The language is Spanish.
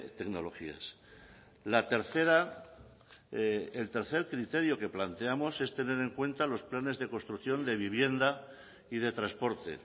tecnologías la tercera el tercer criterio que planteamos es tener en cuenta los planes de construcción de vivienda y de transporte